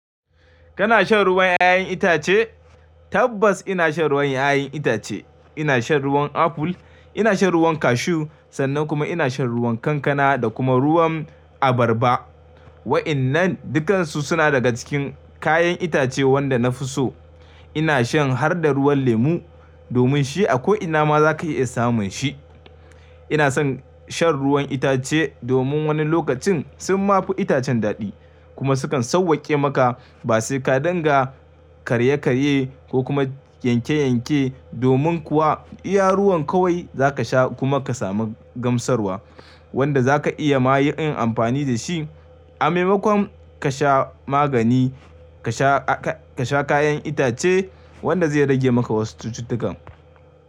Kana shan ruwan 'ya'yan itace? Tabbas ina shan ruwan 'ya'yan itace. Ina shan ruwan aful, ina shan ruwan kashu sannan kuma ina shan ruwan kankana da kuma ruwan abarba. Wa'innan dukansu suna daga cikin kayan itace wanda na fi so. Ina shan har da ruwan lemu domin shi a ko ina ma za ka iya samun shi. Ina son shan ruwan itace domin wani lokacin sun ma fi itacen daɗi kuma sukan sauwake maka ba sai ka danga karye-karye ko kuma yanke-yanke domin kuwa iya ruwan kawai za ka sha kuma ka samu gamsarwa wanda za ka iya ma yin amfani da shi a maimakon ka sha magani ka sha, ka sha kayan itace wanda zai rage maka wasu cututtukan.